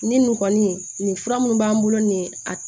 Ni nin kɔni nin fura mun b'an bolo nin ye a